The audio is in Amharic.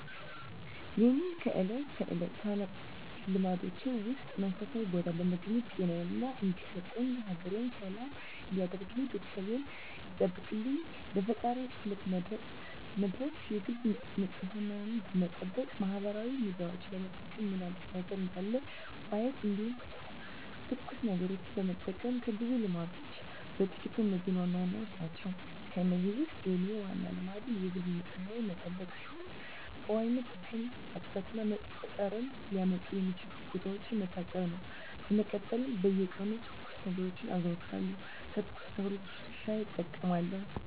የእኔ ከእለት ተለት ልማዶቼ ውስጥ መንፈሳዊ ቦታ በመገኘት ጤናየን እንዲሰጠኝ፣ ሀገሬን ሰላም እንዲያደርግልኝ፣ ቤተሰቤን እንዲጠብቅልኝ ለፈጣሪየ ፀሎት መድረስ የግል ንፅህናየን መጠበቅ ማህበራዊ ሚዲያዎችን በመጠቀም ምን አዲስ ነገር እንዳለ ማየት እንዲሁም ትኩስ ነገሮችን መጠቀም ከብዙ ልማዶቼ በጥቂቱ እነዚህ ዋናዎቹ ናቸው። ከእነዚህ ውስጥ የኔ ዋናው ልማዴ የግል ንፅህናዬን መጠበቅ ሲሆን በዋነኝነት ጥርሴን ማፅዳት እና መጥፎ ጠረን ሊያመጡ የሚችሉ ቦታዎችን መታጠብ ነው። በመቀጠል በየቀኑ ትኩስ ነገሮችን አዘወትራለሁ ከትኩስ ነገሮች ውስጥ ሻይ እጠቀማለሁ።